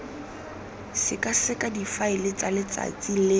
sekaseka difaele tsa letsatsi le